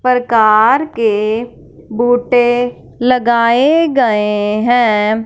परकार के बोटे लगाए गए हैं।